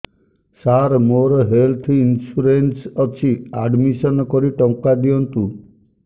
ସାର ମୋର health insurance ଅଛି admission କରି ଟଙ୍କା ଦିଅନ୍ତୁ